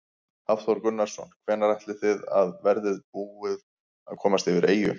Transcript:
Hafþór Gunnarsson: Hvenær áætlið þið að þið verðið búnir að komast yfir í eyju?